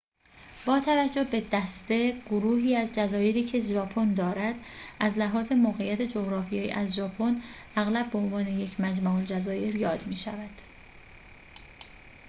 با توجه به دسته/ گروهی از جزایری که ژاپن دارد، از لحاظ موقعیت جغرافیایی از ژاپن اغلب به عنوان یک «مجمع الجزایر» یاد می شود